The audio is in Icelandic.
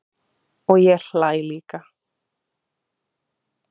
Og ég hlæ líka.